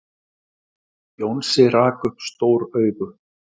Jónsi rak upp stór augu.